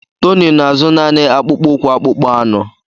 Tony na-azụ naanị akpụkpọ ụkwụ akpụkpọ anụ.